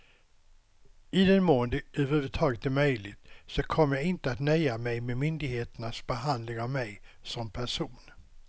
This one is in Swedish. I den mån det över huvud taget är möjligt så kommer jag inte att nöja mig med myndigheternas behandling av mig som person.